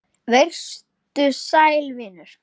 Vertu sæll, vinur.